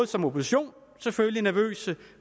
som opposition selvfølgelig nervøse